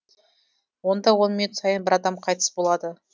онда он минут сайын бір адам қайтыс болады